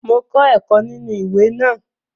Mo kọ́ ẹ̀kọ́ nínú ìwé náà